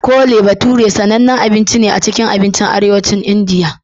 Chole bhature sanannen abinci ne a cikin abincin Arewacin Indiya.